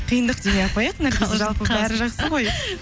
қиындық демей ақ қояйық наргиз